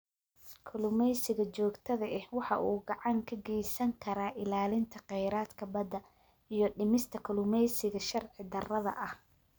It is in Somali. Kalluumeysiga joogtada ahi waxa uu gacan ka geysan karaa ilaalinta kheyraadka badda iyo dhimista kalluumeysiga sharci darrada ah.